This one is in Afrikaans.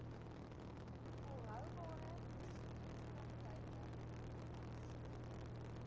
volhoubare bestuurspraktyke toegepas